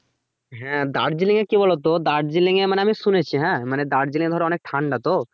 হ্যাঁ দার্জিলিং এ কি বলতো দার্জিলিং এ মানে আমি শুনেছি হ্যাঁ মানে দার্জিলিং এ অনেক ঠান্ডা তো